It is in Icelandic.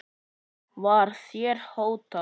Var þér hótað?